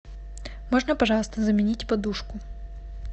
можно пожалуйста заменить подушку